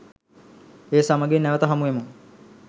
ඒ සමගින් නැවත හමුවෙමු